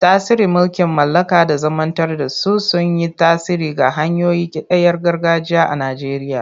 Tasirin mulkin mallaka da zamanantar da su sun yi tasiri ga hanyoyin kidayar gargajiya a Najeriya.